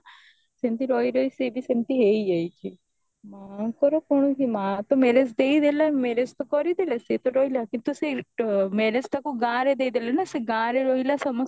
ସେମିତି ରହି ରହି ସିଏ ବି ସେମିତି ହେଇଯାଇଛି ମାଙ୍କର କଣ କି ମା ତ marriage ଦେଇଦେଲେ marriage ତ କରିଥିଲେ ସେ ତ ରହିଲା କିନ୍ତୁ se marriage ତାକୁ ଗାଁରେ ଦେଇଦେଲେ ନା ସେ ଗାଁ ରେ ରହିଲା ସମସ୍ତଙ୍କୁ